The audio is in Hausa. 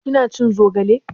Kina cin zogale?